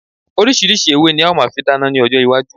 Orísirísi ewé ní a ò fi máa dáná ni ọjọ iwájú